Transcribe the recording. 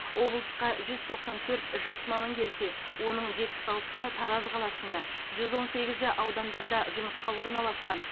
облысқа жүз тоқсан төрт жас маман келсе оның жетпіс алтысы тараз қаласында жүз он сегізі аудандарда жұмысқа орналасқан